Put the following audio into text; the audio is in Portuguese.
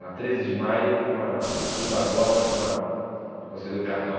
Na treze de maio, com a Ruy Barbosa e com a Conselheiro Carrão.